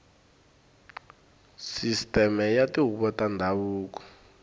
sisiteme ya tihuvo ta ndhavuko